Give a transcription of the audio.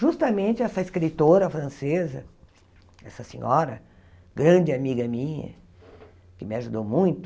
Justamente essa escritora francesa, essa senhora, grande amiga minha, que me ajudou muito,